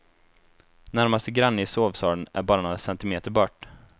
Närmaste granne i sovsalen är bara några centimeter bort.